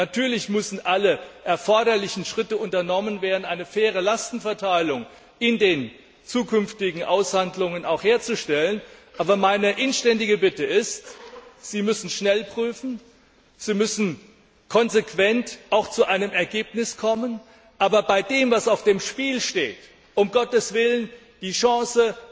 Natürlich müssen alle erforderlichen Schritte unternommen werden, um in den zukünftigen Aushandlungen auch eine faire Lastenverteilung herzustellen. Aber meine inständige Bitte ist Sie müssen schnell prüfen, Sie müssen konsequent auch zu einem Ergebnis kommen, aber bei dem, was auf dem Spiel steht, darf um Gottes Willen diese Chance